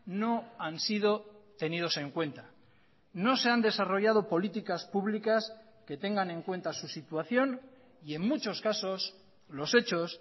no han sido tenidos en cuenta no se han desarrollado políticas públicas que tengan en cuenta su situación y en muchos casos los hechos